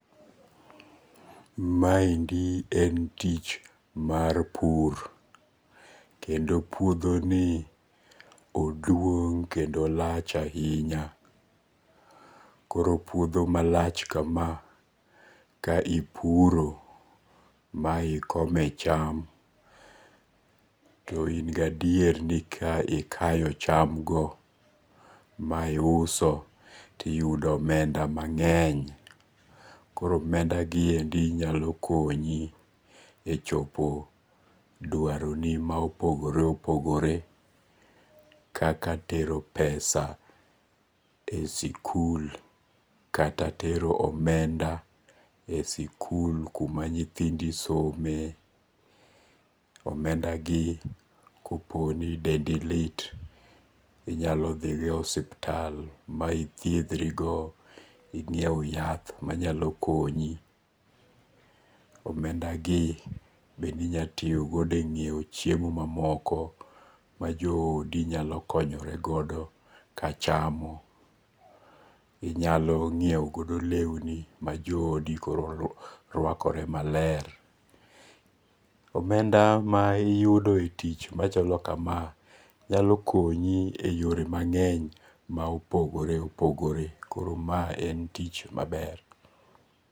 Maendi en tich mar pur, kendo puothoni oduong' kendo olach ahinya, koro puotho malach kama ka ipuro ma ikome cham to in gi adieri ni ka ikayo chamgo ma iuso to iyudo omenda mange'ny, koro omendagiendi nyalo konyi e chopo dwaroni ma opogore opogore kaka tero pesa e sikul kata tero omenda e sikul kuma nyithindi somie, omendagi ka poni dendi lit inyalo thi go ithiethri go inyiew yath manyalo okonyi, omendagi bende inyalo tiyogo e nyiewo chiemo mamoko ma jodo nyalo konyoregodo kachamo, inyalo nyiewogo lewni ma jo odo koro rwakorego maler, omenda ma iyudo e tich machalo kama nyalo konyi e yore mange'ny ma opogore opogore koro mae en tich maber.